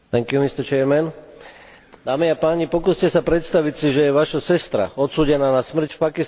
Dámy a páni, pokúste sa predstaviť si, že vaša sestra je odsúdená na smrť v Pakistane a nedokážete jej pomôcť.